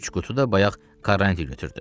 Üç qutu da bayaq Karançın götürdü.